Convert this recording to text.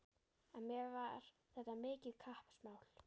En mér var þetta mikið kappsmál.